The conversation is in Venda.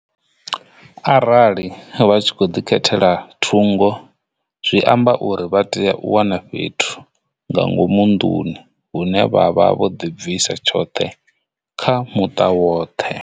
Arali vha tshi khou ḓi khethela thungo zwi amba uri vha tea u wana fhethu nga ngomu nḓuni hune vha vha vho ḓi bvisa tshoṱhe kha muṱa woṱhe.